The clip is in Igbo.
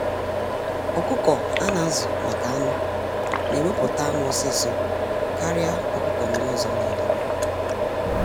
Ọkụkọ a na-azu maka anụ na eweputa anụ ọsịsọ karịa ọkụkọ ndị ọzọ n'ile.